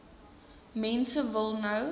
mense wil nou